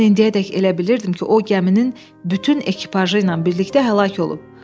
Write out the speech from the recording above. Mən indiyədək elə bilirdim ki, o gəminin bütün ekipajı ilə birlikdə həlak olub.